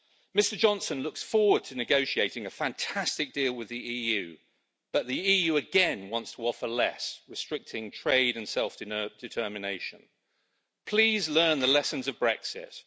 Mr Johnson looks forward to negotiating a fantastic deal with the EU, but the EU again wants to offer less, restricting trade and self determination. Please learn the lessons of Brexit.